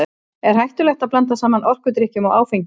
Er hættulegt að blanda saman orkudrykkjum og áfengi?